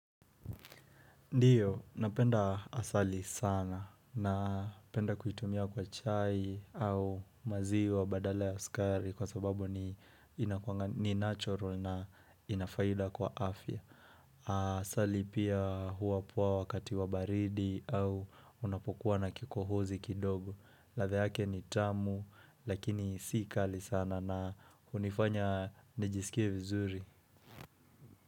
Ndiyo, napenda asali sana napenda kuitumia kwa chai au maziwa badala ya skari kwa sababu ni natural na inafaida kwa afya. Asali pia huwa poa wakati wa baridi au unapokuwa na kikohozi kidogo. Ladha yake ni tamu lakini si kali sana na hunifanya nijisikie vizuri.